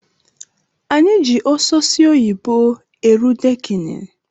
Anyi ji ososi oyibo eru dekini